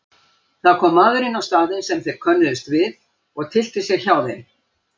Það kom maður inn á staðinn sem þeir könnuðust við og tyllti sér hjá þeim.